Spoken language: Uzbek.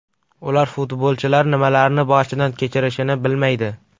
Ular futbolchilar nimalarni boshdan kechirishini bilmaydi.